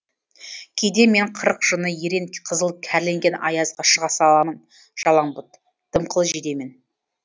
кейде мен қырық жыны ерен қызыл кәрленген аязға шыға саламын жалаңбұт дымқыл жейдемен